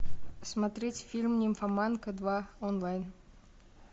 смотреть фильм нимфоманка два онлайн